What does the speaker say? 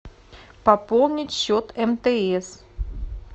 пополнить счет мтс